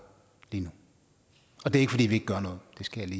lige nu og det ikke fordi vi ikke gør noget det skal